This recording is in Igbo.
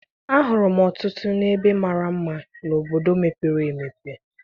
Ahụrụ m ọtụtụ ebe mara mma n'obodo mepere emepe.